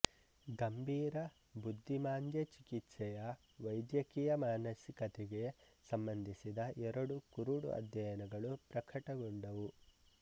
ಗಂಬೀರ ಬುದ್ಧಿಮಾಂದ್ಯ ಚಿಕಿತ್ಸೆಯ ವೈಧ್ಯಕೀಯ ಮಾನಸಿಕತೆಗೆ ಸಂಬಂಧಿಸಿದ ಎರಡು ಕುರುಡು ಅಧ್ಯಯನಗಳು ಪ್ರಖಟಗೊಂಡವು